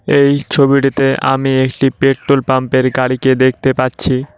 এই ছবিটিতে আমি একটি পেট্রোল পাম্প -এর গাড়িকে দেখতে পাচ্ছি।